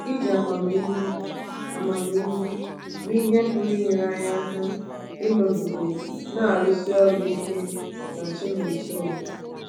Iji amamihe amamihe mee ihe pụrụ inyere anyị aka ịnọgide na-arụsi ọrụ ike na Chinonsoer